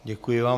Děkuji vám.